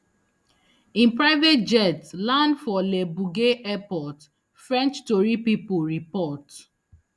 im private jet land for le bourget airport french tori pipo report